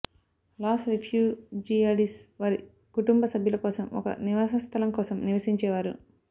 loss రిఫ్యూజియాడీస్ వారి కుటుంబ సభ్యుల కోసం ఒక నివాసస్థలం కోసం నివసించేవారు